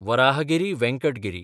Varahagiri Venkata Giri